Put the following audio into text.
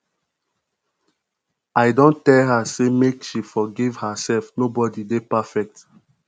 i don tell am sey make she forgive herself nobodi dey perfect